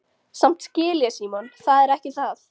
Samt skil ég Símon, það er ekki það.